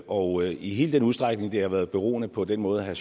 og i hele den udstrækning det har været beroende på den måde herre